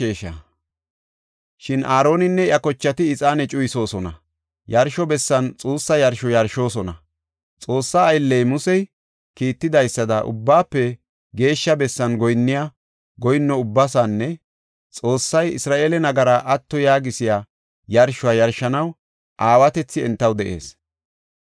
Shin Aaroninne iya kochati ixaane cuyisoosona; yarsho bessan xuussa yarsho yarshoosona. Xoossa aylley Musey kiitidaysada Ubbaafe Geeshsha Bessan goyinniya goyinno ubbaasinne Xoossay Isra7eele nagaraa atto yaagisiya yarshuwa yarshanaw aawatethi entaw de7ees.